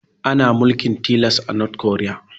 Ana mulkin tilas a north korea